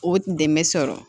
O dɛmɛ sɔrɔ